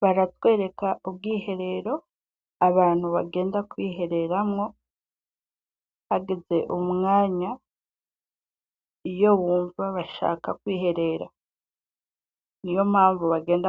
Baratwereka ubwiherero abantu bagenda kwihereranwo hageze umwanya iyo bumva bashaka kwiherera. Niyo mpamvu bagenda